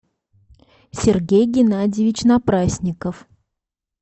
сергей геннадьевич напрасников